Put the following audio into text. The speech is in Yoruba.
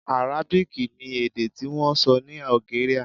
Arábìkì ni èdè tí wọ́n ń sọ ní Algeria.